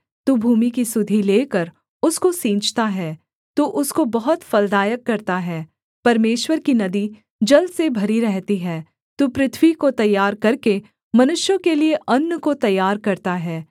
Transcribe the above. तू भूमि की सुधि लेकर उसको सींचता है तू उसको बहुत फलदायक करता है परमेश्वर की नदी जल से भरी रहती है तू पृथ्वी को तैयार करके मनुष्यों के लिये अन्न को तैयार करता है